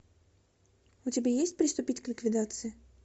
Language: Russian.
у тебя есть приступить к ликвидации